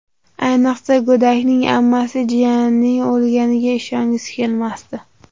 Ayniqsa, go‘dakning ammasi jiyanining o‘lganiga ishongisi kelmasdi.